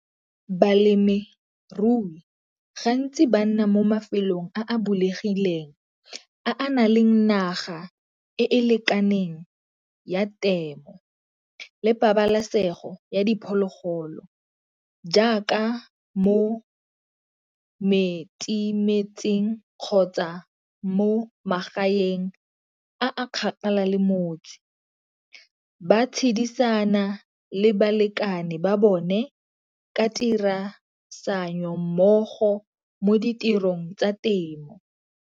Balemirui gantsi ba nna mo mafelong a bulegileng a a na le naga e e lekaneng ya temo le pabalesego ya diphologolo, jaaka mo metse-metseng kgotsa mo magaeng a kgakala le motse ba tshedisana le balekane ba bone ka mmogo mo ditirong tsa temo.